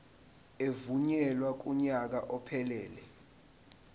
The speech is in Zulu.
evunyelwe kunyaka ophelele